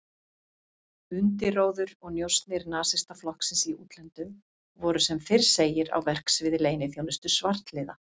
Undirróður og njósnir Nasistaflokksins í útlöndum voru sem fyrr segir á verksviði leyniþjónustu svartliða